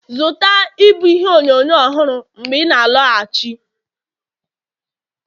zụta ịbụ ihe onyonyo ọhụrụ mgbe ị na-alọghachi